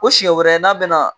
Ko siɲɛ wɛrɛ n'a bɛna